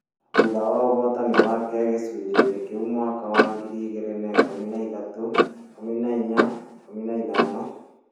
thutha wa ũhootani wake gĩcunjĩ-inĩ kĩu mwaka wa ngiri igĩrĩ na ikũmi nĩ ithatũ, ikũmi na inya, ikũmi na ithano,